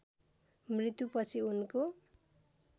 मृत्यु पछि उनको